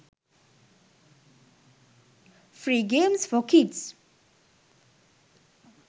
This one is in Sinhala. free games for kids